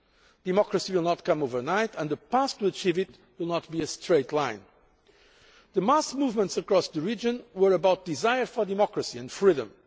Democracy will not come overnight and the path to achieving it will not be a straight one. The mass movements across the region were about desire for democracy and freedom.